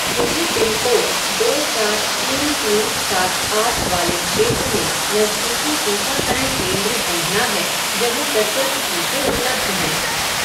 मुझे पिनकोड दो चार तीन तीन सात आठ वाले क्षेत्र में नज़दीकी टीकाकरण केंद्र ढूँढना है जहाँ सशुल्क टीके उपलब्ध हैं।